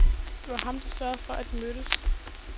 Det var ham, der sørgede for, at de mødtes.